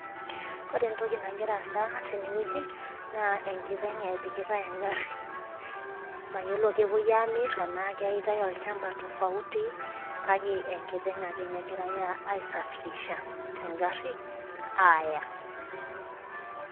Ore entoki nagira aasa tene wueji naa enkiteng' epikitae egari. mayiolo kepuoi Aamir tenaa keitae, olchampa tofauti kake enkiteng' ake ninye aisafirisha te gari aaya.